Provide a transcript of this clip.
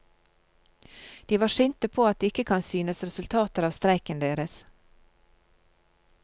De var sinte på at det ikke kan synes resultater av streiken deres.